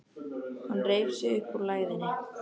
Hann reif sig upp úr lægðinni.